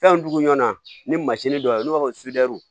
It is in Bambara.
Fɛn dugu ɲɔnan ni mansin dɔ bɛ yen n'o b'a fɔ ko